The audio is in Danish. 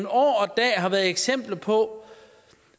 år og dag har været eksempler på